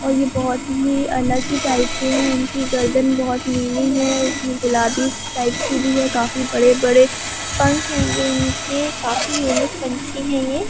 और यह बहत ही अलग ही टाइप के हैं इनकी गर्दन बहत नीली है उसमें गुलाबी टाइप की भी है काफी बड़े-बड़े पंख हेंगे ईनके काफी यूनिक पंछि हे यह।